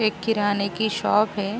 एक किराने की शॉप है।